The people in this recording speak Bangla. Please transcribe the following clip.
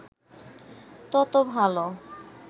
তত ভালো